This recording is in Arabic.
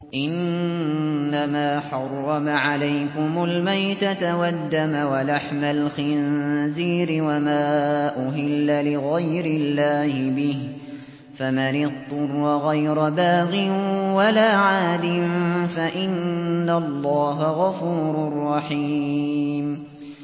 إِنَّمَا حَرَّمَ عَلَيْكُمُ الْمَيْتَةَ وَالدَّمَ وَلَحْمَ الْخِنزِيرِ وَمَا أُهِلَّ لِغَيْرِ اللَّهِ بِهِ ۖ فَمَنِ اضْطُرَّ غَيْرَ بَاغٍ وَلَا عَادٍ فَإِنَّ اللَّهَ غَفُورٌ رَّحِيمٌ